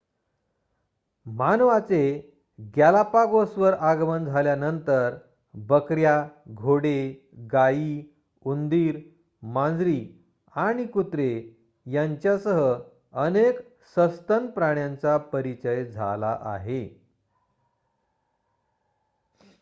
मानवाचे गॅलापागोसवर आगमन झाल्यानंतर बकऱ्या घोडे गायी उंदीर मांजरी आणि कुत्रे यांच्यासह अनेक सस्तन प्राण्यांचा परिचय झाला आहे